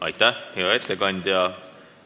Aitäh, hea ettekandja!